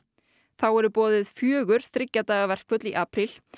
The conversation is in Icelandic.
þá eru boðuð fjögur þriggja daga verkföll í apríl